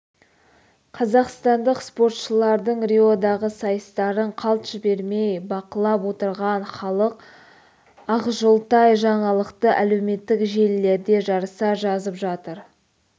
қазақстандық спортшылардың риодағы сайыстарын қалт жібермей бақылап отырған халық ақжолтай жаңалықты әлеуметтік желілерде жарыса жазып жатыр